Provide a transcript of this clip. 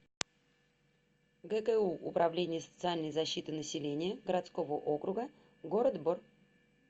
гку управление социальной защиты населения городского округа город бор